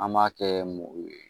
An b'a kɛ mugu ye